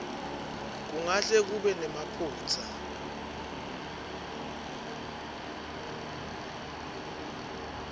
kungahle kube nemaphutsa